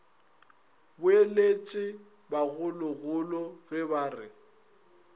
boletše bagologolo ge ba re